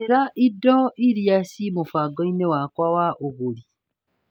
Njĩra indo iria ci mũbango-inĩ wakwa wa ũgũri .